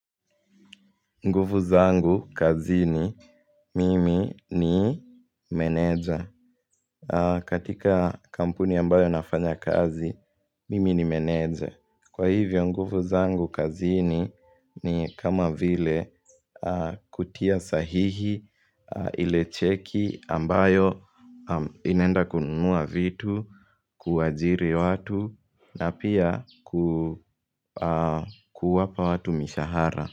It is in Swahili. Nguvu zangu, kazini, mimi ni meneja. Katika kampuni ambayo nafanya kazi, mimi ni meneja. Kwa hivyo, nguvu zangu, kazini ni kama vile kutia sahihi, ile cheki ambayo inaenda kunuua vitu, kuwaajiri watu, na pia kuwapa watu mishahara.